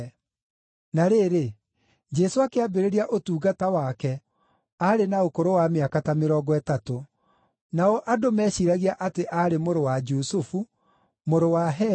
Na rĩrĩ, Jesũ akĩambĩrĩria ũtungata wake aarĩ na ũkũrũ wa mĩaka ta mĩrongo ĩtatũ. Nao andũ meeciiragia atĩ aarĩ mũrũ wa Jusufu, mũrũ wa Heli,